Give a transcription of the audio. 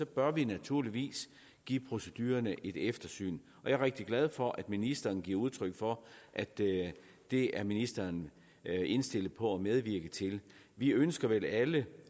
bør vi naturligvis give procedurerne et eftersyn jeg er rigtig glad for at ministeren giver udtryk for at det det er ministeren indstillet på at medvirke til vi ønsker vel alle